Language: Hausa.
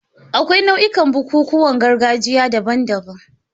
Akwai nau'ikan bukukuwan gargajiya daban-daban.